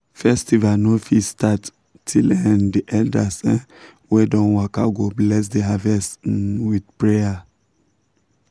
festival no fit start till um the elders um wey don waka go bless the harvest um with prayer.